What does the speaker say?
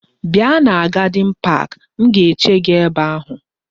Bia na gadin park! M ga-eche gi ebe ahu.